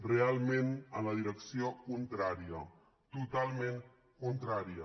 realment en la direcció contrària totalment contrària